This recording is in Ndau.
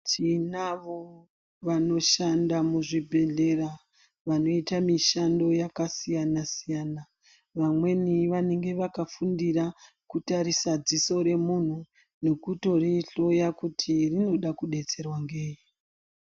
Tinavo vanoshanda muzvibhedhlera vanoita mishando yakasiyana-siyana vamweni vanenge vakafundira kutarisa dziso remuntu nekutorihloya kuti rinoda kudetserwa ngei.